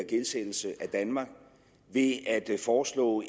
danmark ved at foreslå